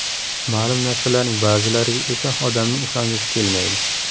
Ma’lum narsalarning ba’zilariga esa odamning ishongisi kelmaydi.